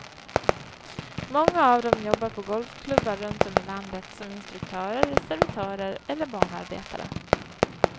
Många av dem jobbar på golfklubbar runt om i landet som instruktörer, servitörer eller banarbetare.